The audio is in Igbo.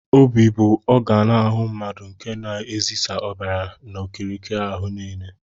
Óbị bụ ọganu ahụ mmadụ nke na ezisa ọbara n'okirikiri áhù niile.